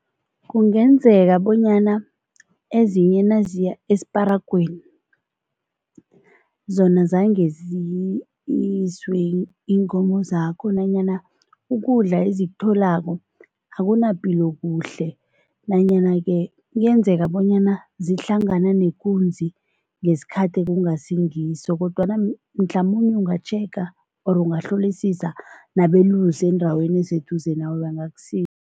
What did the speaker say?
Kungenzeka bonyana ezinye naziya esiparagweni, zona zange ziyiswe iinkomo zakho nanyana ukudla ezikutholako akunapilo kuhle nanyana-ke kuyenzeka bonyana zihlangana nekunzi ngesikhathi ekungasingiso kodwana mhlamunye ungatjhega or ungahlolisisa nabelusi endaweni eseduze nawe, bangakusiza.